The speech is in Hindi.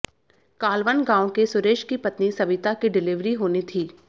कालवन गांव के सुरेश की पत्नी सविता की डिलीवरी होनी थी